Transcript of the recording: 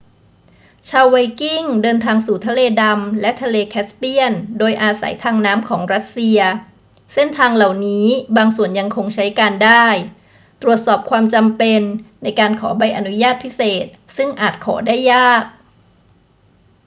ชาวไวกิ้งเดินทางสู่ทะเลดำและทะเลแคสเปียนโดยอาศัยทางน้ำของรัสเซีย เส้นทางเหล่านี้บางส่วนยังคงใช้การได้ ตรวจสอบความจำเป็นในการขอใบอนุญาตพิเศษซึ่งอาจขอได้ยาก